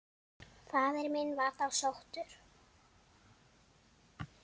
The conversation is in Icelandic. Faðir minn var þá sóttur.